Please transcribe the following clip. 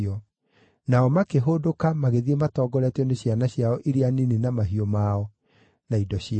Nao makĩhũndũka magĩthiĩ matongoretio nĩ ciana ciao iria nini na mahiũ mao, na indo ciao.